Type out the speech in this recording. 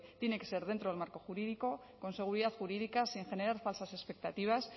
tiene que ser dentro del marco jurídico con seguridad jurídica sin generar falsas expectativas